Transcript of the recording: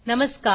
नमस्कार